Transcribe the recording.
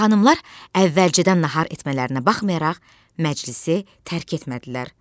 Xanımlar əvvəlcədən nahar etmələrinə baxmayaraq, məclisi tərk etmədilər.